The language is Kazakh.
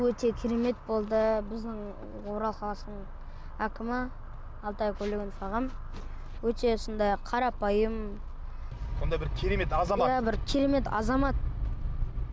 өте керемет болды біздің орал қаласының әкімі алтай көлгінов ағам өте сондай қарапайым сондай бір керемет азамат иә бір керемет азамат